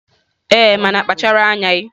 Ee, mana kpachara anya.